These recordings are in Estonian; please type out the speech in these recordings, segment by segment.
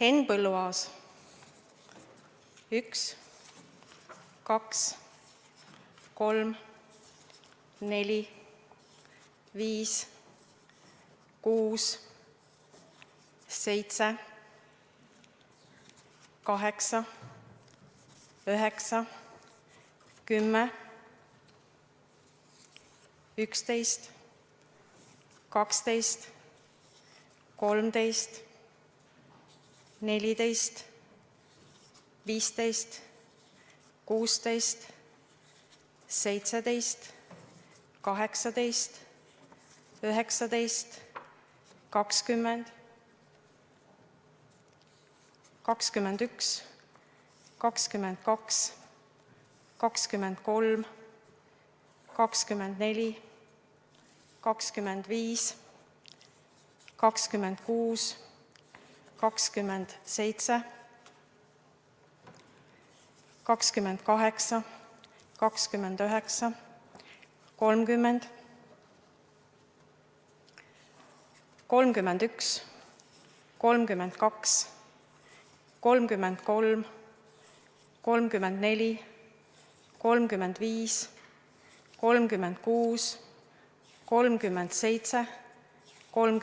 Henn Põlluaas: 1, 2, 3, 4, 5, 6, 7, 8, 9, 10, 11, 12, 13, 14, 15, 16, 17, 18, 19, 20, 21, 22, 23, 24, 25, 26, 27, 28, 29, 30, 31, 32, 33, 34, 35, 36, 37, 38, 39, 40, 41, 42, 43, 44, 45, 46, 47, 48, 49,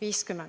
50.